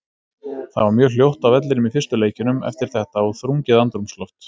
Það var mjög hljótt á vellinum í fyrstu leikjunum eftir þetta og þrungið andrúmsloft.